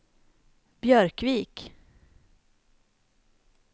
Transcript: Björkvik